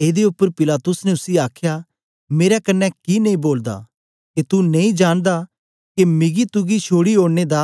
एदे उपर पिलातुस ने उसी आखया मेरे कन्ने कि नेई बोलदा के तू नेई जानदा के मिगी तुगी छोड़ी ओड़ने दा